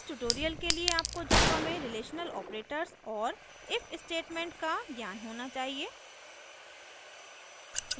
इस tutorial के लिए आपको java में relational operators relational operators और if statement का ज्ञान होना चाहिए